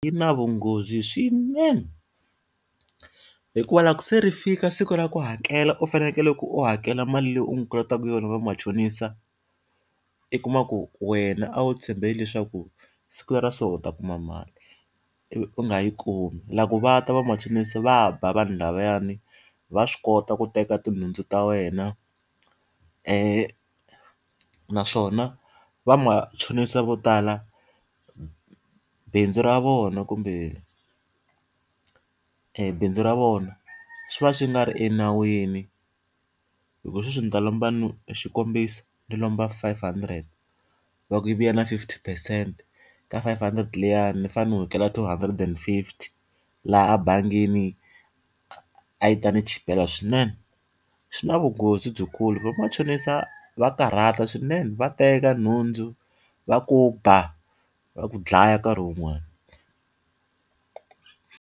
Yi na vunghozi swinene. Hikuva loko se ri fika siku ra ku hakela u fanekele ku u hakela mali leyi u n'wi kolotaka yona va machonisa, u kuma ku wena a wu tshembele leswaku siku leri ra so u ta kuma mali, ivi u nga yi kumi loko va ta vamachonisi va ba vanhu lavawani. Va swi kota ku teka tinhundzu ta wena naswona va machonisa vo tala, bindzu ra vona kumbe ebindzu ra vona, swi va swi nga ri enawini. Hikuva sweswi ndzi ta lomba xikombiso ndzi lomba five hundred, va ku yi vuya na fifty percent, ka five hundred liyani ndzi fanele ndzi hakela two hundred and fifty, laha ebangini a a yi ta ndzi chipela swinene. Swi na vunghozi lebyikulu. Va machonisa va karhata swinene, va teka nhundzu, va ku ba, va ku dlaya nkarhi wun'wani.